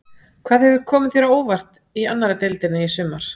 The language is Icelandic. Hvað hefur komið þér á óvart í annarri deildinni í sumar?